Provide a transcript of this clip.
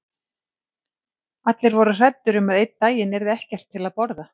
Allir voru hræddir um að einn daginn yrði ekkert til að borða.